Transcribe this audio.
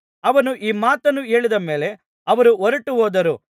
ಅವನು ಈ ಮಾತನ್ನು ಹೇಳಿದ ಮೇಲೆ ಅವರು ಹೊರಟುಹೋದರು